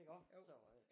Iggå så øh